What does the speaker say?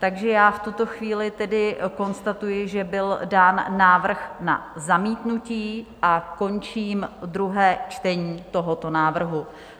Takže já v tuto chvíli tedy konstatuji, že byl dán návrh na zamítnutí, a končím druhé čtení tohoto návrhu.